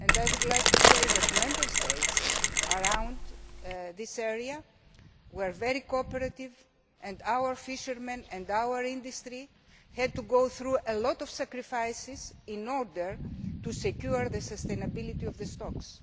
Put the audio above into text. I would like to say that the Member States around this area were very cooperative and our fishermen and our industry had to suffer a lot of sacrifices in order to secure the sustainability of the stocks.